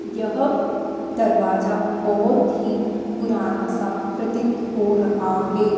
यह दरवाजा बहुत ही पुराना सा प्रतीत हो रहा है।